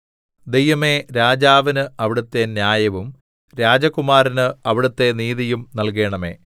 ദൈവമേ രാജാവിന് അവിടുത്തെ ന്യായവും രാജകുമാരന് അവിടുത്തെ നീതിയും നല്കണമേ